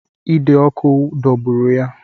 Ide ọkụ dọgburu ya